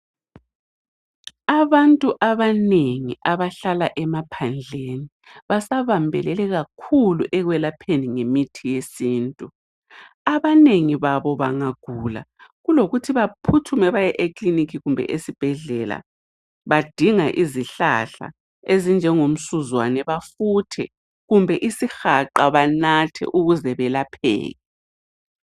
Abantu abanengi abahlala emaphandleni basabambelele kakhulu ekwelapheni ngemithi yesintu. Abanengi babo bangagula kulokuthi baphuthume baye eklinikhi kumbe esibhedlela badinga izihlahla ezinjengomsuzwane bafuthe kumbe isihaqa banathe ukuze belapheke.